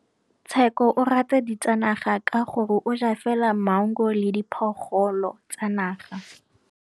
Tshekô o rata ditsanaga ka gore o ja fela maungo le diphologolo tsa naga.